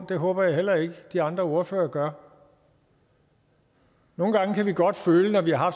det håber jeg heller ikke de andre ordførere gør nogle gange kan vi godt føle når vi har